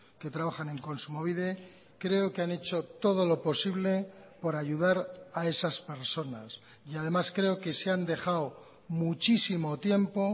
que trabajan en kontsumobide creo que han hecho todo lo posible por ayudar a esas personas y además creo que se han dejado muchísimo tiempo